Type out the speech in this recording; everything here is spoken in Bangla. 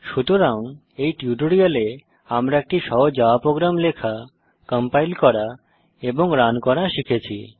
সুতরাং এই টিউটোরিয়ালে আমরা একটি সহজ জাভা প্রোগ্রাম লেখা কম্পাইল করা এবং রান করা শিখেছি